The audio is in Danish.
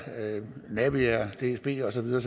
naviair dsb og så videre